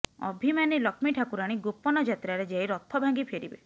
ଅଭିମାନୀ ଲକ୍ଷ୍ମୀ ଠାକୁରାଣୀ ଗୋପନ ଯାତ୍ରାରେ ଯାଇ ରଥ ଭାଙ୍ଗି ଫେରିବେ